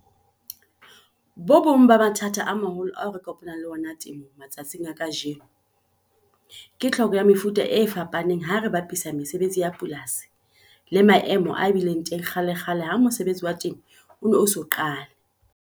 Bo bong ba mathata a maholo ao re kopanang le ona temong matsatsing a kajeno ke tlhoko ya mefuta e fapaneng ha re bapisa mesebetsi ya polasi le maemo a bileng teng kgalekgale ha mosebetsi wa temo o ne o eso qale.